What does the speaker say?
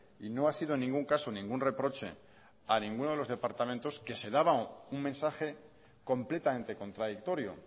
y no ha sido en ningún caso ningún reproche a ninguno de los departamentos que se daban un mensaje completamente contradictorio